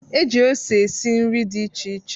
E ji ose esi nri dị iche